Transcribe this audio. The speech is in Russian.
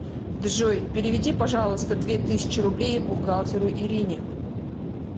джой переведи пожалуйста две тысячи рублей бухгалтеру ирине